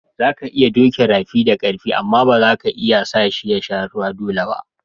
Za ka iya doki rafi da karfi amma ba za ka iya sa shi ya sha ruwa dolle ba.